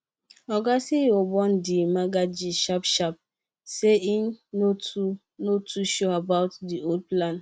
oga ceo bone the merger gist sharpsharp say e no too no too sure about the whole plan